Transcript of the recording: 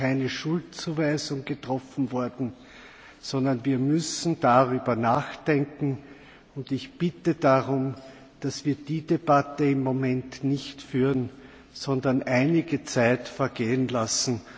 Es ist keine Schuldzuweisung getroffen worden, sondern wir müssen darüber nachdenken. Ich bitte darum, dass wir diese Debatte im Moment nicht führen, sondern einige Zeit vergehen lassen.